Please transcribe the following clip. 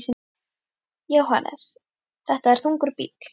Jóhannes: Þetta er þungur bíll?